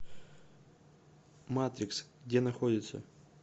матрикс где находится